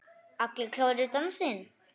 Allir klárir í dansinn?